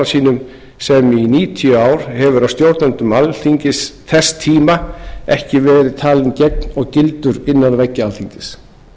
sínum sem í níutíu ár hefur af stjórnendum alþingis þess tíma ekki verið talinn gegn og gildur innan veggja alþingis